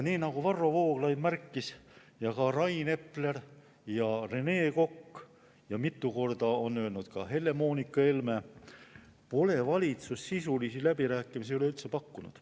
Nii nagu märkisid Varro Vooglaid, Rain Epler ja Rene Kokk ning nagu mitu korda on öelnud Helle-Moonika Helme, pole valitsus sisulisi läbirääkimisi üleüldse pakkunud.